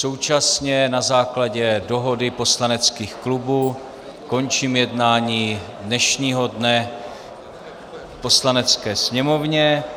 Současně na základě dohody poslaneckých klubů končím jednání dnešního dne v Poslanecké sněmovně.